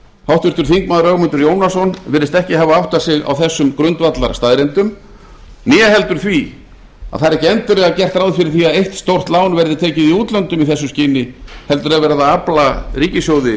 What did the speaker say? háttvirtur þingmaður ögmundur jónasson virðist ekki hafa áttað sig á þessum grundvallarstaðreyndum né heldur því að það er ekki endilega gert ráð fyrir því að eitt stórt lán verði tekið í útlöndum í þessu skyni heldur er verið að afla ríkissjóði